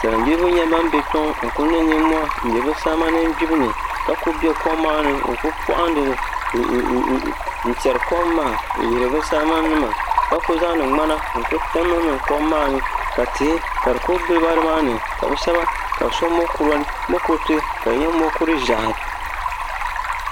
Salin gbiribi nyɛla ban bɛ kpɛ ŋo n ku niŋ nimmohi n bɛ bi salima nim gbibu ni ka ku bɛ kom maa ni n ku poɣandili n tiɛri kom maa n yihiri bi salima nima ka ku zaŋdi ŋmana n ku niŋ niŋ kom maa ni ka tihi ka di kuli giliba nimaani ka bi shab so mokuriti ka di nyɛ mokuru ʒiɛhi